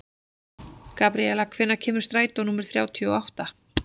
Gabríela, hvenær kemur strætó númer þrjátíu og átta?